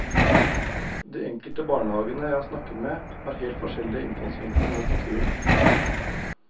De enkelte barnehagene jeg har snakket med har helt forskjellige innfallsvinkler mot naturen.